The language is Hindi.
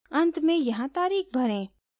अंत में यहाँ तारीख़ भरें